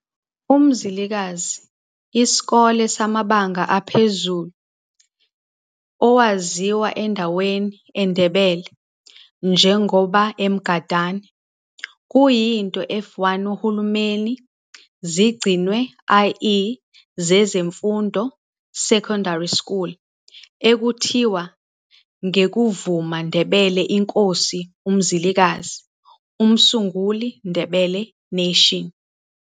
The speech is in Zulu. UMzilikazi Isikolo samabanga aphezulu, owaziwa endaweni, e Ndebele, njengoba eMgandane, kuyinto F1 uhulumeni zigcinwe, ie zezemfundo, secondary school okuthiwa ngekuvuma Ndebele inkosi uMzilikazi, umsunguli Ndebele Nation.